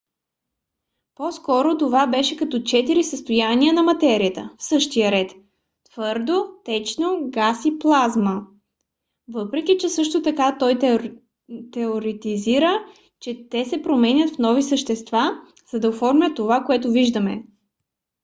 по-скоро това беше като четирите състояния на материята в същия ред: твърдо течно газ и плазма въпреки че също така той теоретизира че те се променят в нови вещества за да оформят това което виждаме